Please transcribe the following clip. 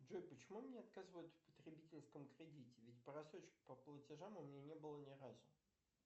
джой почему мне отказывают в потребительском кредите ведь просрочки по платежам у меня не было ни разу